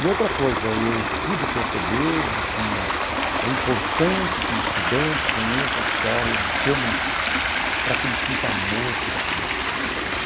E outra coisa, eu pude perceber de que é importante que o estudante conheça a história do seu município, para que ele sinta amor pela cidade.